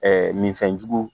Ɛɛ minfɛn jugu